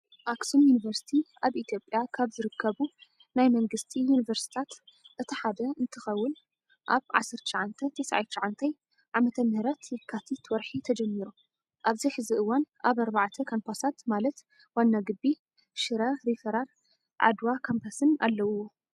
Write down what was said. ኣክሱም ዩኒቨርሰቲ ኣብ ኢትዮጵያ ካብ ዝርከቡ ናይ መንግስቲ ዩኒቨርሲቲታት እቲ ሓደ እንትኸውን ኣብ 1999 ዓ/ም የካቲት ወርሒ ተጀሚሩ። ኣብዚ ሕዚ እዋን ኣብ 4ተ ካምፓሳት ማላት ዋና ግቢ፣ ሽረ ሪፈራር፣ ዓድዋ ካምፓስን አለውዎ።